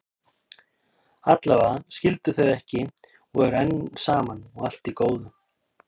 Allavega skildu þau ekki og eru enn saman, og allt í góðu.